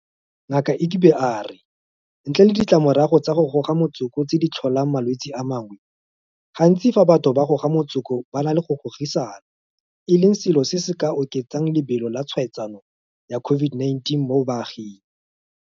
Ngaka Egbe a re ntle le ditlamorago tsa go goga motsoko tse di tlholang malwetse a mangwe, gantsi fa batho ba goga motsoko ba na le go gogisana e leng selo se se ka oketsang lebelo la tshwaetsano ya COVID-19 mo baaging.